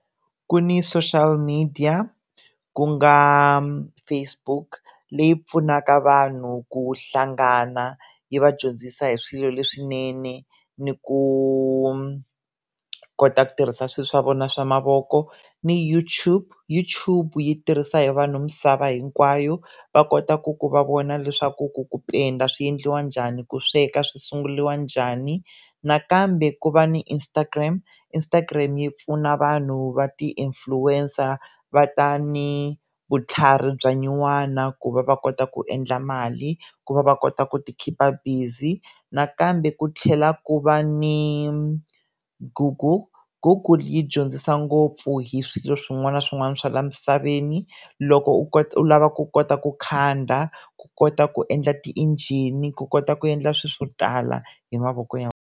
Ku ni social media ku nga Facebook leyi pfunaka vanhu ku hlangana yi va dyondzisa hi swilo leswinene ni ku kota ku tirhisa swilo swa vona swa mavoko ni YouTube YouTube yi tirhisa hi vanhu misava hinkwayo va kota ku ku va vona leswaku ku ku penda swiendliwa njhani ku sweka swi sungurilwa njhani nakambe ku va ni Instagram Instagram yi pfuna vanhu va ti-influencer va ta ni vutlhari bya nyuwana ku va va kota ku endla mali ku va va kota ku ti khipa busy nakambe ku tlhela ku va ni Google Google yi dyondzisa ngopfu hi swilo swin'wana na swin'wana swa laha misaveni loko u kota u lava ku kota ku khanda ku kota ku endla ti-engine ku kota ku endla swilo swo tala hi mavoko ya.